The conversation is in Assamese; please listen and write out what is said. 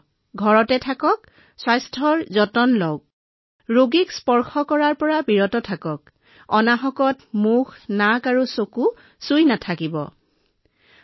অনুগ্ৰহ কৰি নিজকে টীকাকৰণ কৰক এক নিম্নতম পাৰ্শ্বক্ৰিয়াই দেখা দিব পাৰে আৰু মই এই বাৰ্তা প্ৰদান কৰিব বিচাৰো যে ঘৰত থাকক সুস্থ হৈ থাকক অসুস্থ লোকসকলৰ সংস্পৰ্শ পৰিহাৰ কৰক আৰু অপ্ৰয়োজনীয়ভাৱে নাক চকু আৰু মুখ স্পৰ্শ কৰা পৰিহাৰ কৰক